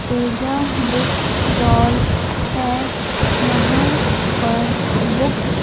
Teja book stall है यहां पर बुक्स --